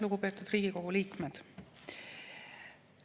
Lugupeetud Riigikogu liikmed!